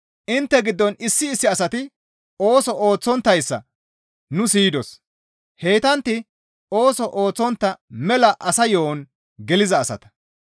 Intte giddon issi issi asati ooso ooththonttayssa nu siyidos; heytantti ooso ooththontta mela asa yo7on geliza asata.